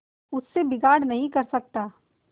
उससे बिगाड़ नहीं कर सकता